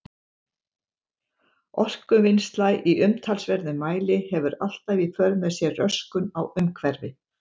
Orkuvinnsla í umtalsverðum mæli hefur alltaf í för með sér röskun á umhverfi.